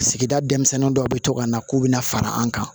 Sigida denmisɛnnin dɔw bɛ to ka na k'u bɛna fara an kan